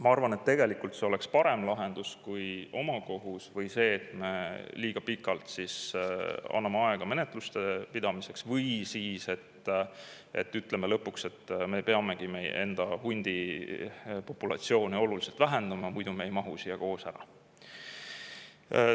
Ma arvan, et tegelikult see oleks parem lahendus kui omakohus või see, et me liiga pikalt anname aega menetluseks või siis ütleme lõpuks, et me peamegi meie enda hundi populatsiooni oluliselt vähendama, muidu me ei mahu siia koos ära.